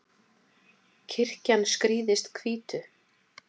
kirkjan skrýðist hvítu